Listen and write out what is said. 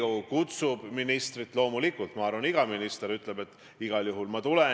Kui te küsite, mis asi on armas minule, siis see on Eesti ja Eesti riik, Eesti inimesed – tõesti on armsad.